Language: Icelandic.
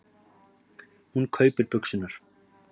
Hún kaupir buxurnar.